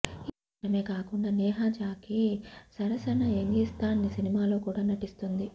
ఈ చిత్రమే కాకుండా నేహా జాక్కీ సరసన యంగిస్తాన్ సినిమాలో కూడా నటిస్తుంది